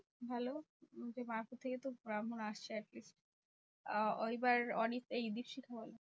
ভালো যে মায়াপুর থেকে তো ব্রাহ্মণ আসছে atleast. আহ এইবার ওরি এই দ্বীপশিখা বলো?